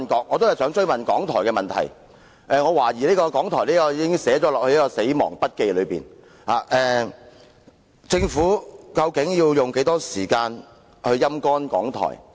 我想追問港台的問題，我懷疑港台已被寫進"死亡筆記"中，究竟政府要用多少時間來"陰乾"港台？